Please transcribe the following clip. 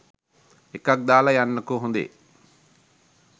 එකක් දාලා යන්නකෝ හොඳේ?